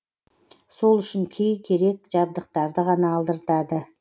сол үшін кей керек жабдықтарды ғана алдыртады